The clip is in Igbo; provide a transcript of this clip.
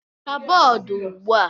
Hichaa bọọdụ ugbu a!